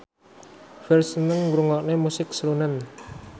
Ferdge seneng ngrungokne musik srunen